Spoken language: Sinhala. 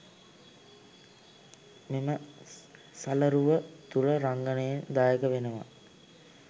මෙම සලරුව තුළ රංගනයෙන් දායක වෙනවා